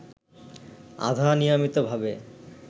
আধা-নিয়মিতভাবে